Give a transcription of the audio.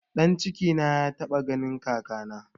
Ɗan cikina ya taɓa ganin kakana